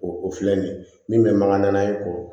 O o filɛ nin bɛ mankan na ye k'o